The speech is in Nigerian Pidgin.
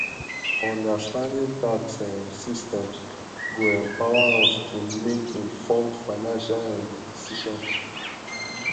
understanding tax um systems go empower us um to make informed financial um um decisions